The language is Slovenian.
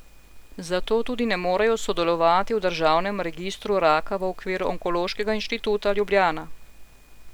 Zato tudi ne morejo sodelovati v državnem registru raka v okviru Onkološkega inštituta Ljubljana.